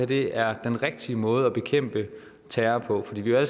det er den rigtige måde at bekæmpe terror på fordi vi jo